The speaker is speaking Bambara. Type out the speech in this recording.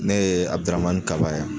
Ne ye Abdramani Kaba ye.